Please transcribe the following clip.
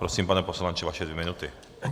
Prosím, pane poslanče, vaše dvě minuty.